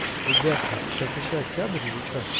ребята сейчас ещё октябрь или че